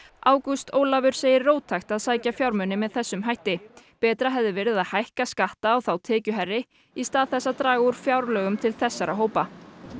ágúst Ólafur segir róttækt að sækja fjármuni með þessum hætti betra hefði verið að hækka skatta á þá tekjuhærri í stað þess að draga úr framlögum til þessara hópa